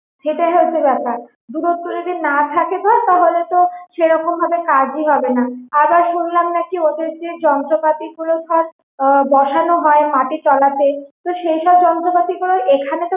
সেটাই হচ্ছে ব্যাপার দূরত্ব যদি না থাকে ধর তাহলে তো সেই রকম ভাবে কাজ ই হবেনা, আবার শুনলাম নাকি ওদের যে যন্ত্রপাতি গুলো ধর আহ বসানো হয় মাটির তলাতে তো সেই সব যন্ত্র পাতিগুলি এখানে